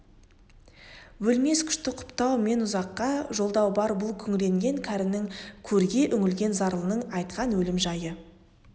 өлмес күшті құптау мен ұзаққа жолдау бар бұл күңіренген кәрінің көрге үңілген зарлының айтқан өлім жайы